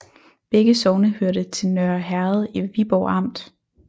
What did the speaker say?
Begge sogne hørte til Nørre Herred i Viborg Amt